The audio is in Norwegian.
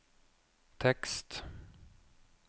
tekst